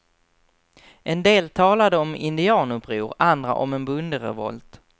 En del talade om indianuppror, andra om en bonderevolt.